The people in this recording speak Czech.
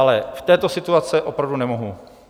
Ale v této situaci opravdu nemohu.